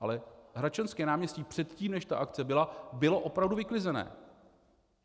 Ale Hradčanské náměstí předtím, než ta akce byla, bylo opravdu vyklizené.